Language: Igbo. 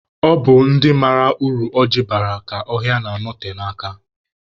Ọ bụ naanị ndị mara uru ọ ji bara ka ọhịa na-anote n'aka